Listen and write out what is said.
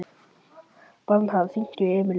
Bernharð, hringdu í Emilíu.